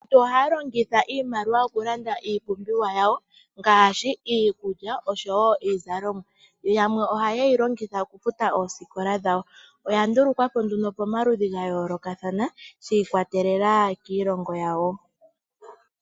Aantu ohaya longitha iimaliwa okulanda iipumbiwa yawo ngaashi iikulya oshowo iizalomwa, yo yamwe ohaye yilongitha okufuta ooskola dhawo. Oya ndulukwapo nduno yomaludhi gayoloka kathana shikwatelela kiilongo yawo.